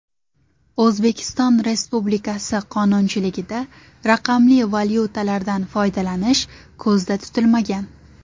O‘zbekiston Republikasi qonunchiligida raqamli valyutalardan foydalanish ko‘zda tutilmagan.